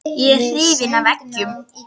Ég er hrifinn af eggjum.